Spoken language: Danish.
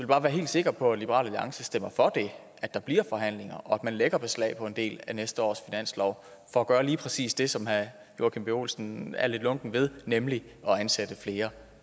bare være helt sikker på at liberal alliance stemmer for det at der bliver forhandlinger og at man lægger beslag på en del af næste års finanslov for at gøre lige præcis det som herre joachim b olsen er lidt lunken ved nemlig at ansætte flere